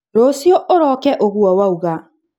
rũciũ ũroke ũgũo wauga